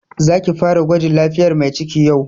Za ki fara gwajin lafiyar Mai ciki yau!